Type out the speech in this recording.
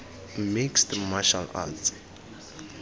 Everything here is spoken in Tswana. mixed martial arts